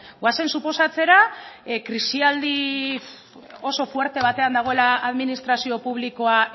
goazen suposatzera krisialdi oso fuerte batean dagoela administrazio publikoa